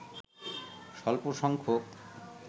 স্বল্প সংখ্যক